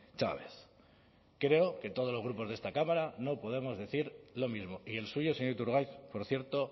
chávez creo que todos los grupos de esta cámara no podemos decir lo mismo y el suyo señor iturgaiz por cierto